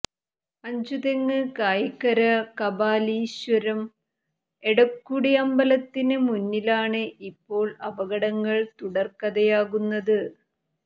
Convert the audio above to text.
അഞ്ചുതെങ്ങ് കായിക്കര കാപാലീശ്വരം എടക്കുടി അമ്പലത്തിന് മുന്നിലാണ് ഇപ്പോൾ അപകടങ്ങൾ തുടർക്കഥയാകുന്നത്